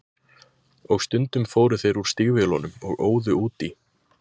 Og stundum fóru þeir úr stígvélunum og óðu út í.